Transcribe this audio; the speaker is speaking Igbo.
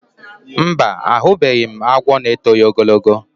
Mba, ahụbeghị m agwọ n'etoghi ogologo